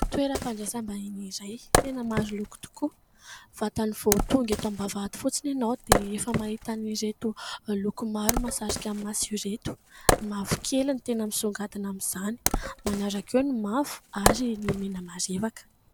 Toeram-pandraisam-bahiny iray tena maro loko tokoa. Vantany vao tonga eto am-bavahady fotsiny ianao dia efa mahita an'ireto loko maro mahasarika maso ireto. Ny mavokely ny tena misongadina amin'izany manaraka eo ny mavo ary ny mena marevaka.